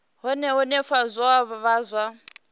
hune henefho zwa vha zwa